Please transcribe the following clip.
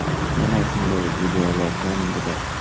Mana shunday videolardan biri.